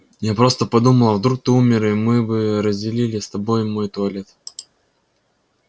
я просто подумала вдруг ты умер и мы бы разделили с тобой мой туалет